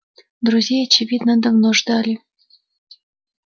друзей очевидно давно ждали